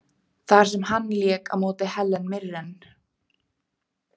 þar sem hann lék á móti Helen Mirren.